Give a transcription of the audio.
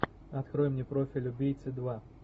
открой мне профиль убийцы два